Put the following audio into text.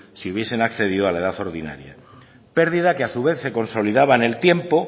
si hubiesen accedido a la edad ordinaria pérdida que a su vez se consolidaba en el tiempo